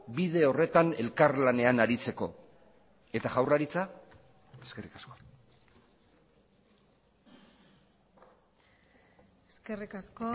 bide horretan elkarlanean aritzeko eta jaurlaritza eskerrik asko eskerrik asko